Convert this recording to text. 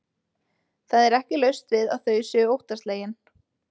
Það er ekki laust við að þau séu óttaslegin.